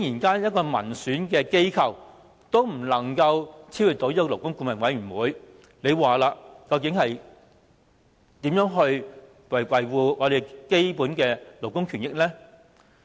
當一個民選機構也無法超越勞顧會，試問我們如何能維護基本的勞工權益呢？